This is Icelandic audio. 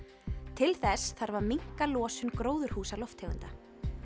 til þess þarf að minnka losun gróðurhúsalofttegunda